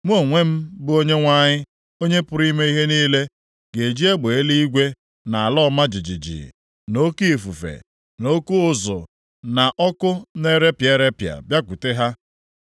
mụ onwe m, bụ Onyenwe anyị, Onye pụrụ ime ihe niile, ga-eji egbe eluigwe na ala ọma jijiji na oke ifufe na oke ụzụ, na ọkụ na-erepịa erepịa, bịakwute ha.